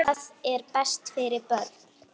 Hvað er best fyrir börnin?